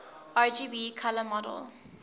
rgb color model